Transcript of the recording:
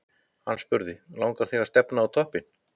Hann spurði: Langar þig að stefna á toppinn?